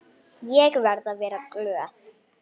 Ég verði að vera glöð.